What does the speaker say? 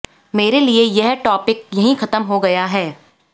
मेरे लिए यह टॉपिक यही खत्म हो गया है